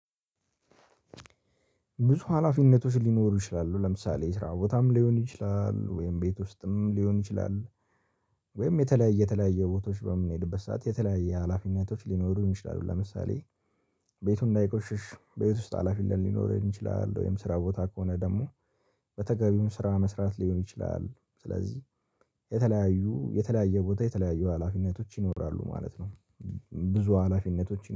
ብዙ ሀላፊነቶች ሊኖሩ ይችላሉ። ለምሳሌ የስራ ቦታም ሊሆን ይችላል፣ ወይም ቤት ውስጥም ሊሆን ይችላል፣ ወይም የተለያየ የተለያየ ቦታዎች በምንሄድበት ሰዓት የተለያየ ሀላፊነቶች ሊኖሩ ይችላሉ ለምሳሌ ቤቱን እንዳይቆሽሽ ቤት ውስጥ ሀላፊነት ሊኖረኝ ይችላል፣ ወይም ስራ ቦታ ከሆነ ደግሞ በተገቢው ስራ መስራት ሊሆን ይችላል፣ ስለዚህ የተለያዩ የተለያየ ቦታ የተለያዩ ሀላፊነቶች ይኖራሉ ማለት ነው። ብዙ ሀላፊነቶች